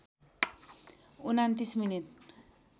२९ minute